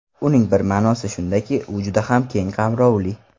Uning bir ma’nosi shundaki, u juda ham keng qamrovli.